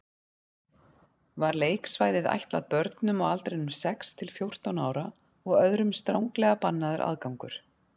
Var leiksvæðið ætlað börnum á aldrinum sex til fjórtán ára og öðrum stranglega bannaður aðgangur.